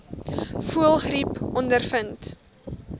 voëlgriep ondervind